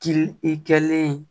Kili i kɛlen ye